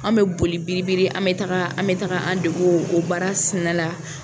An bɛ boli biri biri an bɛ taga an taga an degu o o baara sina la.